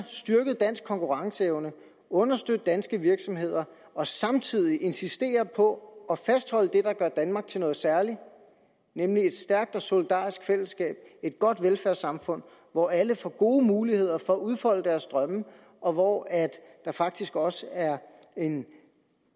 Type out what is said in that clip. styrket dansk konkurrenceevne understøtte danske virksomheder og samtidig insistere på at fastholde det der gør danmark til noget særligt nemlig et stærkt og solidarisk fællesskab et godt velfærdssamfund hvor alle får gode muligheder for at udfolde deres drømme og hvor der faktisk også er en